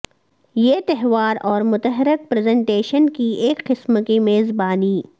یہ تہوار اور متحرک پریزنٹیشن کی ایک قسم کی میزبانی